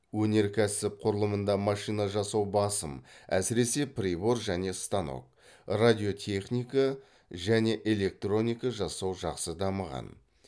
өнеркәсіп құрылымында машина жасау басым әсіресе прибор және станок радиотехника мен электроника жасау жақсы дамыған